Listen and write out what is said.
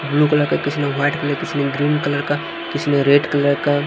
blue colour का किसी ने वाइट कलर किसी ने ग्रीन कलर का किसी ने रेड कलर का --